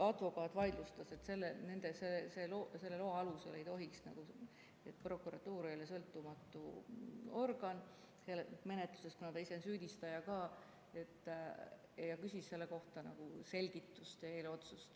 Advokaat vaidlustas, et selle loa alusel ei tohiks, prokuratuur ei ole sõltumatu organ menetluses, kuna ta ise on ka süüdistaja, ja küsis selle kohta selgitust ning eelotsust.